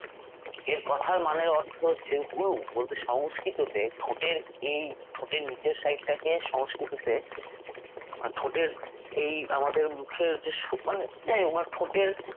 এর কথার মান এর অর্থ হচ্ছে হনু বলতে সংস্কৃততে ঠোঁটের এই ঠোঁটের নিচের side টাকে সংস্কৃতিতে ঠোঁটের এই আমাদের মুখের যে মানে যে ঠোঁটের